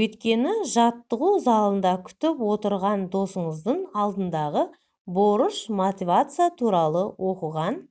өйткені жаттығу залында күтіп отырған досыңыздың алдындағы борыш мотивация туралы оқыған